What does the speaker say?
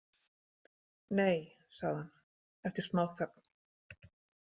Nei, sagði hann eftir smáþögn.